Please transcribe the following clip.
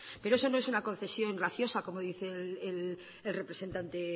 pero eso no es una concesión graciosa como dice el representante